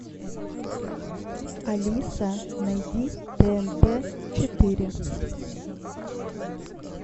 алиса найди тнт четыре